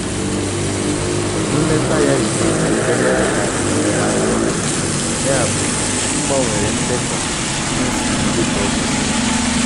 Nleta ya riri ego karịa ka e mere atụmatụ, yabụ m gbanwere ndekọ mmefu m dịka o kwesịrị.